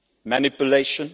Manipulation?